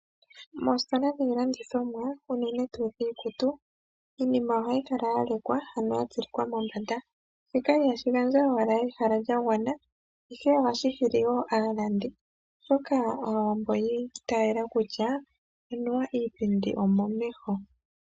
Moostola dhiilandithomwa unene tuu iikutu, iinima ohayi kala ya lekwa ano ya tsilikwa mombanda, shika ihashi gandja owala ehala lya gwana ihe ohashi hili wo aalandi, oshoka Aawambo oyi itaala kutya anuwa iipindi omomeho.